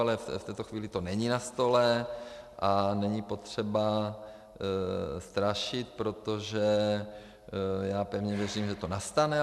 Ale v tuto chvíli to není na stole a není potřeba strašit, protože já pevně věřím, že to nastane.